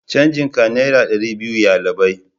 canjin ka naira dari biyu yallabai